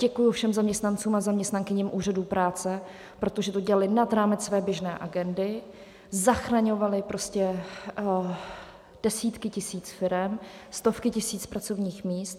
Děkuji všem zaměstnancům a zaměstnankyním úřadů práce, protože to dělali nad rámec své běžné agendy, zachraňovali desítky tisíc firem, stovky tisíc pracovních míst.